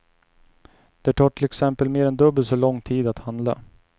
Det tar till exempel mer än dubbelt så lång tid att handla.